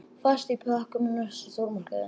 Fæst í pökkum í næsta stórmarkaði.